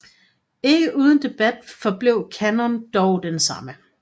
Ikke uden debat forblev kanon dog den samme